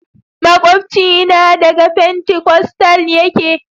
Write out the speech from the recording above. makwabcina daga fentikostal ne.